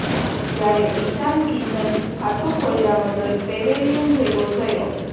જ્યારે ઇશાન કિશન ખાતું ખોલ્યા વગર પેવેલિયન ભેગો થયો